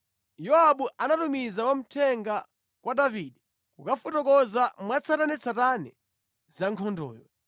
Yowabu anatumiza wamthenga kwa Davide kukafotokoza mwatsatanetsatane za nkhondoyo.